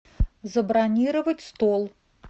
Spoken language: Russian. забронировать стол